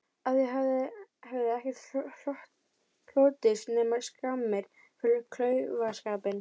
Af því hefði ekkert hlotist nema skammir fyrir klaufaskapinn.